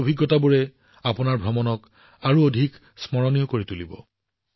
এই অভিজ্ঞতাবোৰে আপোনালোকৰ ভ্ৰমণক আৰু অধিক স্মৰণীয় কৰি তুলিব